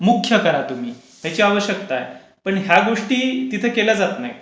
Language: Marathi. मुख्य करा तुम्ही. त्याची आवश्यकता आहे. पण ह्या गोष्टी तिथे केल्या जात नाहीत.